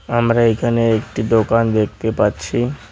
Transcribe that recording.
আমরা এখানে একটি দোকান দেখতে পাচ্ছি।